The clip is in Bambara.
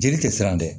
Jeli tɛ siran dɛ